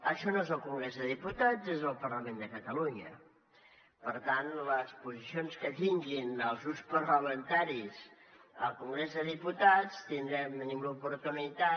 això no és el congrés de diputats és el parlament de catalunya per tant les posicions que tinguin els grups parlamentaris al congrés de diputats tindrem tenim l’oportunitat